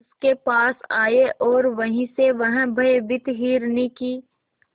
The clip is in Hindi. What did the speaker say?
उसके पास आए और वहीं से वह भयभीत हिरनी की